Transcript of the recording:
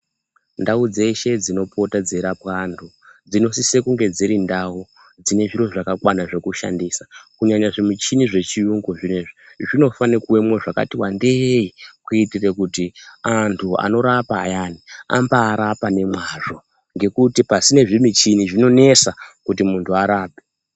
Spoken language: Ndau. Ndau dzeshe dzinopota dzeirapwe antu dzinosise kunge dzirindau dzinezviro zvakakwana zvekushandisa, kunyanya zvimichini zvechiyungu zviyani zvinofane kuwemo zvakati wandei kuitira kuti antu anorapa ayani ambaarapa ngemazvo ngekuti pasine zvimichini zvinonesa kuti vantu varapwe.